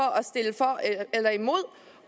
eller imod